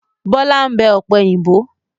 Bọlá ń bẹ ọ̀pẹ̀yìnbo.